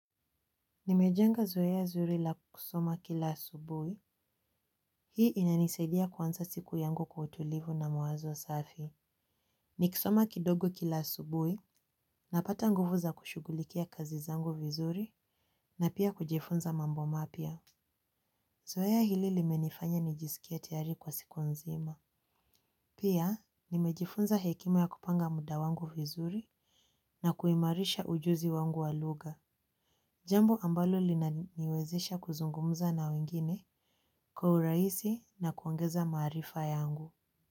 Nimejenga zoea zuri la kusoma kila asubuhi, hii inanisaidia kuanza siku yangu kwa utulivu na mawazo safi. Nikisoma kidogo kila asubuhi, napata nguvu za kushugulikia kazi zangu vizuri, na pia kujifunza mambo mapya. Zoea hili limenifanya nijisikie tayari kwa siku nzima. Pia, nimejifunza hekima ya kupanga muda wangu vizuri, na kuimarisha ujuzi wangu wa lugha. Jambo ambalo linaniwezesha kuzungumza na wengine kwa urahisi na kuongeza maarifa yangu.